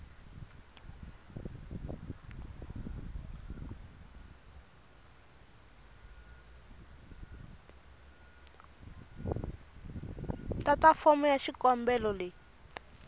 tata fomo ya xikombelo leyi